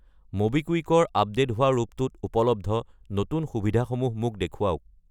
MobiKwik ৰ update হোৱা ৰূপটোত উপলব্ধ নতুন সুবিধাসমূহ মোক দেখুৱাওক!